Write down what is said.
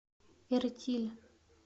эртиль